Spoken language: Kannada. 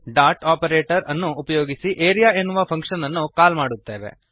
ಡಾಟ್ ಓಪರೇಟರ್ ಅನ್ನು ಉಪಯೋಗಿಸಿ ಆರಿಯಾ ಎನ್ನುವ ಫಂಕ್ಶನ್ ಅನ್ನು ಕಾಲ್ ಮಾಡುತ್ತೇವೆ